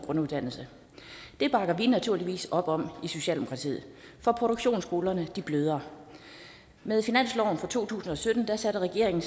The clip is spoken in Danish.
grunduddannelse det bakker vi naturligvis op om i socialdemokratiet for produktionsskolerne bløder med finansloven for to tusind og sytten satte regeringen